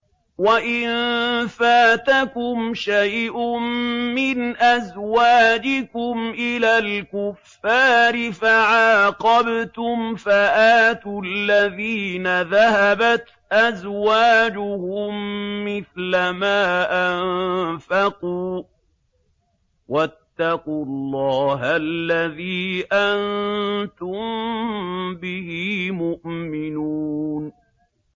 وَإِن فَاتَكُمْ شَيْءٌ مِّنْ أَزْوَاجِكُمْ إِلَى الْكُفَّارِ فَعَاقَبْتُمْ فَآتُوا الَّذِينَ ذَهَبَتْ أَزْوَاجُهُم مِّثْلَ مَا أَنفَقُوا ۚ وَاتَّقُوا اللَّهَ الَّذِي أَنتُم بِهِ مُؤْمِنُونَ